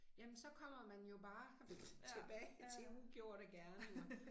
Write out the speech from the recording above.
Jamen så kommer man jo bare tilbage til ugjorte gerninger